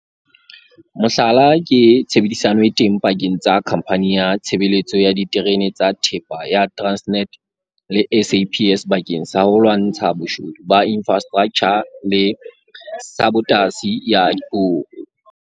Mohlala ke tshebedisano e teng pakeng tsa Khamphani ya Tshebeletso ya Diterene tsa Thepa ya Transnet le SAPS bakeng sa ho lwantsha boshodu ba infrastraktjha le sabotasi ya diporo.